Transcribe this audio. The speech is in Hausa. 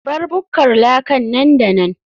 bar bukkar laka nan da nan